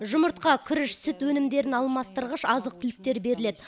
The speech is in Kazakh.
жұмыртқа күріш сүт өнімдерін алмастырғыш азық түліктер беріледі